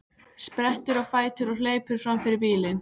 Sprettur á fætur og hleypur fram fyrir bílinn.